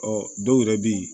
Ɔ dɔw yɛrɛ bɛ yen